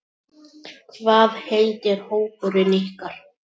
Hvað heitir hópurinn ykkar?